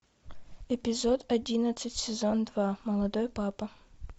эпизод одиннадцать сезон два молодой папа